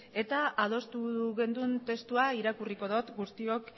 eta adostu genuen testua irakurriko dot guztiok